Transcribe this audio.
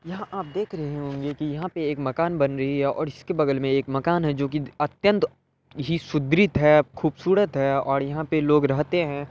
यहा आप देख रहे होंगे की यहा पे एक मकान बन रही है और इस के बगल मे मकान है जो की अत्यंत ही है खूबसूरत है और यहा पे लोग रहते है ।